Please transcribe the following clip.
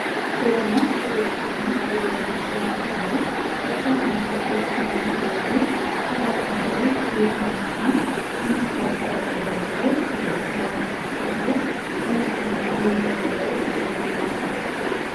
በደማቅ ሮዝ ቀለም በተዘጋጀ ስፍራ ላይ፣ በርካታ ኬኮች እና የተለያዩ ጣፋጭ ነገሮች በወርቃማና የመስታወት ጠረጴዛዎች ላይ ተደርድረዋል። ቦታው በነጭ እና ሮዝ አበባዎች ያጌጠ ነው።